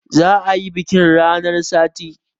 Za a yi biƙin ranar sati